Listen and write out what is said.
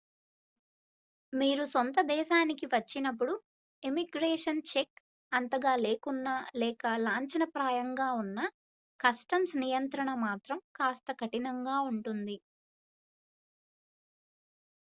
మీరు సొంత దేశానికి వచ్చినప్పుడు ఇమ్మిగ్రేషన్ చెక్ అంతగా లేకున్నా లేక లాంఛన ప్రాయంగా ఉన్నా కస్టమ్స్ నియంత్రణ మాత్రం కాస్త కఠినంగా ఉంటుంది